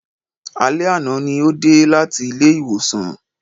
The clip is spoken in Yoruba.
Alé àná ní ó dé láti ilé ìwòsàn